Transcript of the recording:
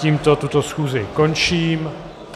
Tímto tuto schůzi končím.